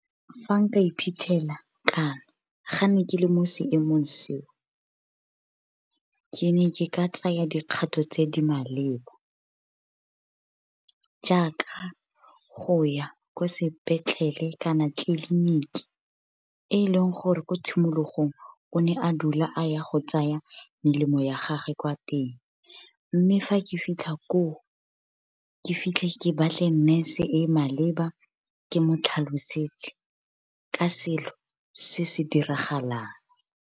Fa nka iphitlhela kana ga ne ke le mo seemong seo, ke ne ke ka tsaya dikgatho tse di maleba jaaka go ya kwa sepetlele kana tleliniki, e leng gore ko tshimologong o ne a dula a ya go tsaya melemo ya gagwe kwa teng. Mme fa ke fitlha koo, ke fitlhe ke ba tle nurse e e maleba, ke mo tlhalosetse ka selo se se diragalang.